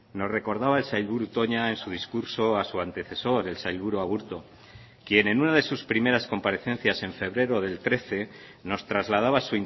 nos recordaba el sailburu toña en su discurso a su antecesor el sailburu aburto quien en una de sus primeras comparecencias en febrero del trece nos trasladaba